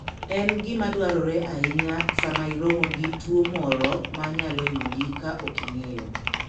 En gima dwarore ahinya sama iromo gi tuwo moro ma nyalo yudi ka ok ing'eyo.